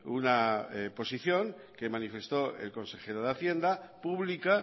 una posición que manifestó el consejero de hacienda pública